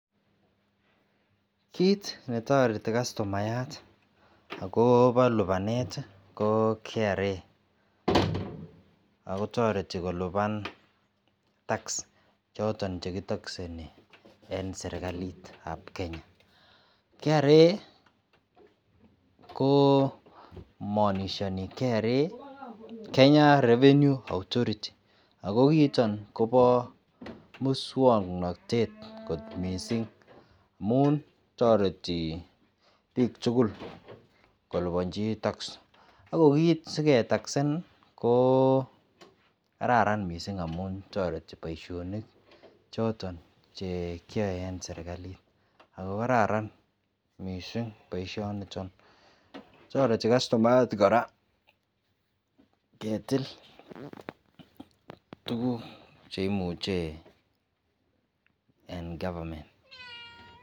Kit netareti customayatkoba lubanet ko kraakotati koluban tax choton chekitakseni en serikalit ab Kenya kra ko manishani kra Kenya revenue authority akokiiton Koba muswaknatet kot mising amun tareti bik tugul kolubanji tax ako kit seketaksen kokararan mising amun baishoni choton en serikali kokararan mising baishoniton tareti kastomayat kora ketil tuguk cheyache en government